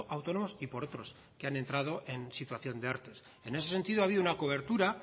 autónomos y por otros que han entrado en situación de erte en ese sentido ha habido una cobertura